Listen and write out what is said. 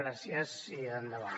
gràcies i endavant